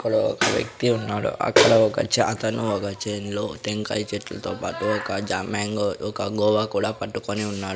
అక్కడ ఒక వ్యక్తి ఉన్నాడు అక్కడ ఒక చ అతను ఒక చేన్ లో టెంకాయ చెట్లతో పాటు ఒక జ మ్యాంగో ఒక గోవా కూడా పట్టుకొని ఉన్నాడు.